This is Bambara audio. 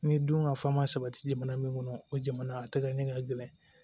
Ni dun ka fa ma sabati jamana min kɔnɔ o jamana a tɛ kɛ ne ka gɛlɛn